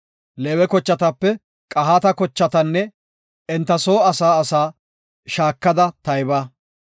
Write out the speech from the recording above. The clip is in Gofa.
“Leewe kochatape Qahaata kochatanne enta soo asaa asaa shaakada tayba.